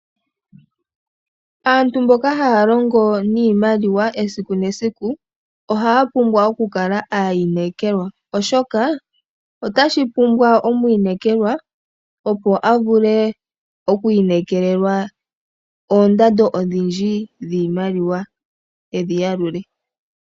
Aantu mboka haya longo niimaliwa esiku nesiku. Ohaya pumbwa oku kala aayinekelwa oshoka otashi omwiinekelwa opo avule oku inekelelwa oondando odhindji dhiimaliwa edhi yalule.